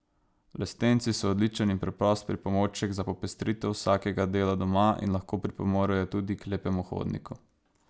Lestenci so odličen in preprost pripomoček za popestritev vsakega dela doma in lahko pripomorejo tudi k lepemu hodniku.